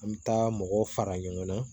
An bɛ taa mɔgɔw fara ɲɔgɔn kan